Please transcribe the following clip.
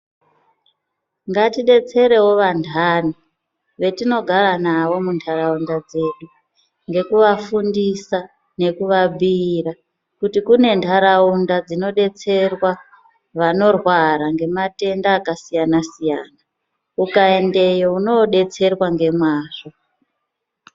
Ngatibetserevo vandani vetinogara navo muntaraunda dzedu. Ngekuvafundisa nekuvabhuira kuti kune ntaraunda dzinoberwa vanorwara ngematenda akasiyana-siyana, ukaendeyo unobetserwa ngemazvo.